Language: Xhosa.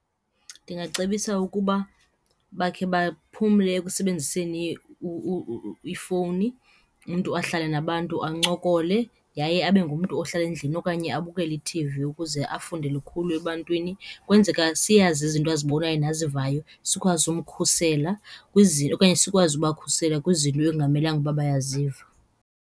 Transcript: Ndingacebisa ukuba bakhe baphumle ekusebenziseni ifowuni, umntu ahlale nabantu ancokole yaye abe ngumntu ohlala endlini okanye abukele i-T_V ukuze afunde lukhulu ebantwini. Kwenzeka siyazi izinto azibonayo nazivayo, sikwazi umkhusela okanye sikwazi ubakhusela kwizinto ekungamelanga ukuba bayaviza.